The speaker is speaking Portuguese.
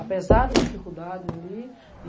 Apesar das dificuldades ali.